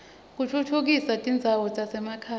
kutfutfukisa tindzawo tasemakhaya